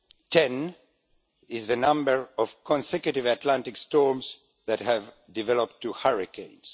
Ten is the number of consecutive Atlantic storms that have developed to hurricanes